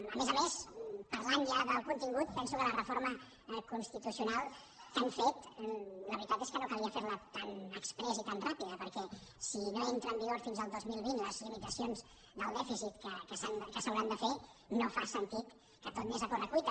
a més a més parlant ja del contingut penso que la reforma constitucional que han fet la veritat és que no calia fer la tan exprés i tan ràpida perquè si no entren en vigor fins al dos mil vint les limitacions del dèficit que s’hauran de fer no fa sentit que tot anés a corre cuita